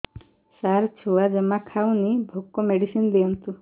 ସାର ଛୁଆ ଜମା ଖାଉନି ଭୋକ ମେଡିସିନ ଦିଅନ୍ତୁ